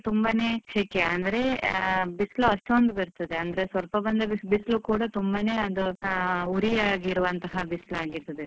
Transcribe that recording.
ತುಂಬಾನೇ ಶೆಕೆ ಅಂದ್ರೆ ಆ ಬಿಸ್ಲು ಅಷ್ಟೊಂದು ಬರ್ತದೆ, ಅಂದ್ರೆ ಸ್ವಲ್ಪ ಬಂದ್ರೆ ಬಿಸ್~ ಬಿಸ್ಲು ಕೂಡಾ ತುಂಬಾನೆ ಅದು ಉರಿಯಾಗಿರುವಂತಹ ಬಿಸ್ಲು ಆಗಿರ್ತದೆ.